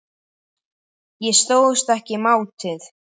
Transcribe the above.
Ég stóðst ekki mátið